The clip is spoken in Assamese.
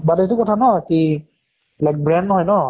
but এইটো কথা ন কি like brand নহয় ন